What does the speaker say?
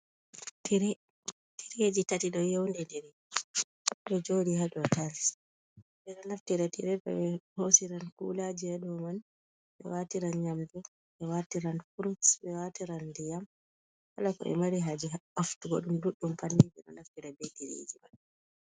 Tire, tireji tati ɗo yeundidiri ɗo joɗi hado tails ɓeɗo naftira tirede be hosiran kulaji hado man, ɓe watiran nyamde, ɓe watiran furuts, ɓe watiran ndiyam kalako ɓe mari haje nafturgo ɗum ɗuɗɗum panni ɓeɗo naftira be tiriji man.